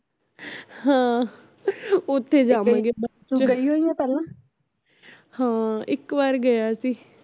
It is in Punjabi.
ਹਾਂ ਓਥੇ ਜਾਵਾਂਗੇ ਆਪਾਂ ਹਾਂ ਇਕ ਵਾਰ ਗਿਆ ਸੀ